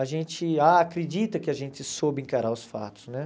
A gente acredita que a gente soube encarar os fatos, né?